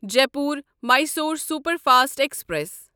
Jaipur Mysore superfast express